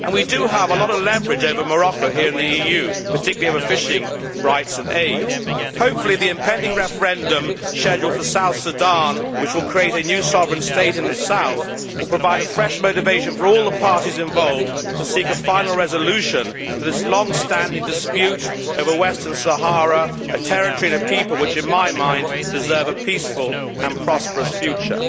We do have a lot of leverage over Morocco here in the EU, particularly over fishing rights and aid. Hopefully the impending referendum scheduled for South Sudan, which will create a new sovereign state in the south, will provide fresh motivation for all the parties involved to seek a final resolution to this long standing dispute over Western Sahara a territory and a people which, in my mind, deserve a peaceful and prosperous future.